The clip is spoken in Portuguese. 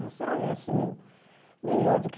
É assim, melhor do que